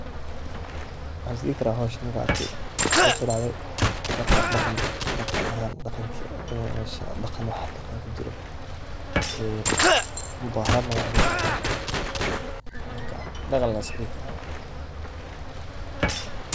Waxaan is dihi karaa howshan markaan arke daqan iyo mudaaharaad na waan dihi karaa, marka daqan lee iska dihi karaa.